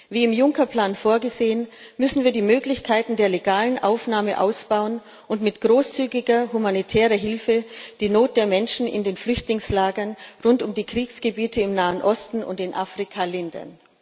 Wie im Juncker Plan vorgesehen, müssen wir die Möglichkeiten der legalen Aufnahme ausbauen und mit großzügiger humanitärer Hilfe die Not der Menschen in den Flüchtlingslagern rund um die Kriegsgebiete im Nahen Osten und in Afrika lindern.